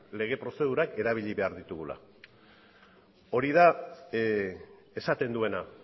lege prozedurak erabili behar ditugula hori da esaten duena